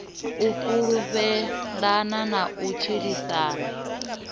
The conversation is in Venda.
u fhulufhelana na u tshilisana